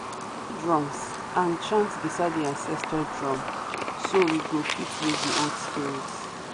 drums and chant beside the ancestor drum so we go fit wake the old spirits.